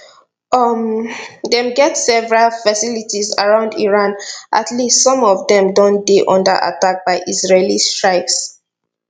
um dem get several facilities around iran at least some of dem don dey under attack by israeli strikes